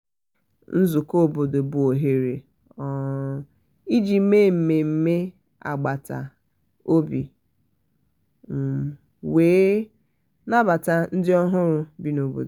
nzukọ obodo bụ òhèrè um iji mee mmemme agbata um obi um wee wee nabata ndị ọhụrụ bi n' obodo.